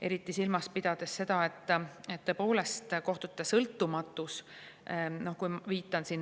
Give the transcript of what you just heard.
Eriti tuleb silmas pidada seda, et tõepoolest kohtute sõltumatus.